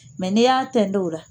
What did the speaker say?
Mɛ n'i y'a tɛnten o la.